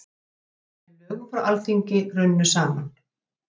Með lögum frá Alþingi runnu saman